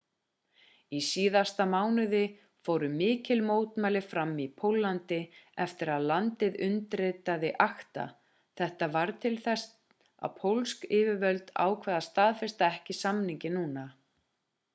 í síðasta mánuði fóru mikil mótmæli fram í póllandi eftir að landið undirritaði acta þetta varð til þess að pólsk yfirvöld ákváðu að staðfesta ekki samninginn núna